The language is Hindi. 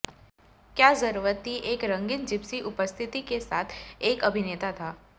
क्या जरूरत थी एक रंगीन जिप्सी उपस्थिति के साथ एक अभिनेता था